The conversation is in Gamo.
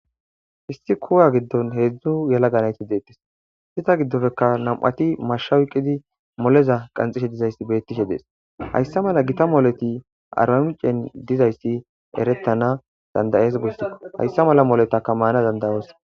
hissi kowa giddon heedzdzu yala ganayti deettes sita giddofekka nam7ati mashshawuqidi moleza qanxishe dizayssi bettishe dees hayssa mala gita mooleti aramicen dizayssi eretana dandayees gussiko hayssa mala moletaka maana dandayoosa